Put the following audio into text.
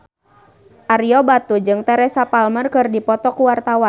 Ario Batu jeung Teresa Palmer keur dipoto ku wartawan